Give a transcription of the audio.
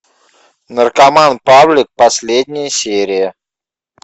наркоман павлик последняя серия